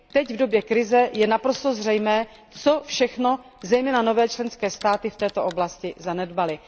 Teď v době krize je naprosto zřejmé, co všechno zejména nové členské státy v této oblasti zanedbaly.